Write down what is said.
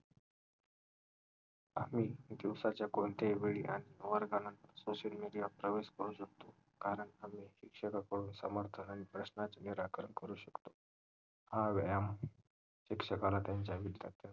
आम्ही दिवसाच्या कोणत्याही वेळी वर्गामद्धे social media प्रवेश करू शकतो कारण आम्ही शिक्षकाकडून समर्थ निराकरण करू शकतो आणि शिक्षकांना त्यांच्या विद्यार्थ्यांचं